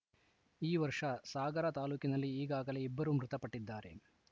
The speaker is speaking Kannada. ಈ ವರ್ಷ ಸಾಗರ ತಾಲೂಕಿನಲ್ಲಿ ಈಗಾಗಲೇ ಇಬ್ಬರು ಮೃತಪಟ್ಟಿದ್ದಾರೆ